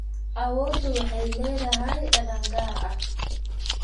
Awoodu waxay leedahay dhadhan gaar ah.